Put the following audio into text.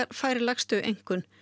fær lægstu einkunn